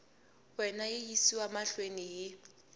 wena yi yisiwa mahlweni hi